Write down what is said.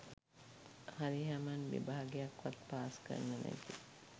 හරි හමන් විභාගයක්වත් පාස් කරන නැති